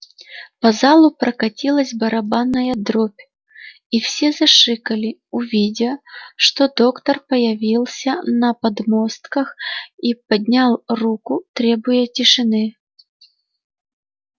по залу прокатилась барабанная дробь и все зашикали увидя что доктор появился на подмостках и поднял руку требуя тишины